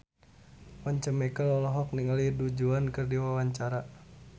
Once Mekel olohok ningali Du Juan keur diwawancara